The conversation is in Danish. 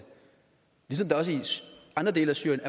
se præcis hvor det skal